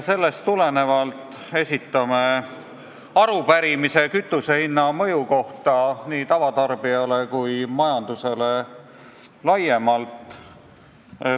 Sellest tulenevalt esitame arupärimise kütusehinna mõju kohta nii tavatarbijale kui ka majandusele laiemalt.